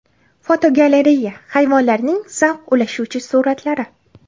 Fotogalereya: Hayvonlarning zavq ulashuvchi suratlari.